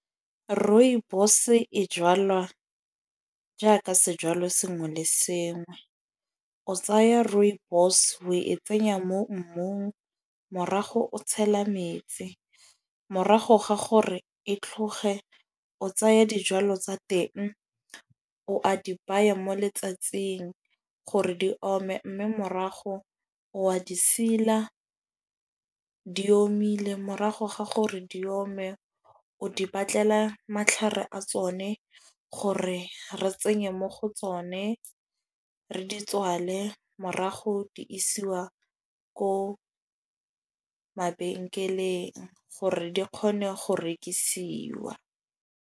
Rooibos-e e jalwa jaaka sejwalo sengwe le sengwe. O tsaya rooibos o e tsenya mo mmung morago o tshela metsi. Morago ga gore e tlhoge o tsaya dijwalo tsa teng o a di baya mo letsatsing, gore di ome. Mme morago wa di sila di omile morago ga gore di ome, o di batlela matlhare a tsone gore re tsenye mo go tsone. Re di tswale morago di isiwa ko mabenkeleng gore di kgone go rekisiwa.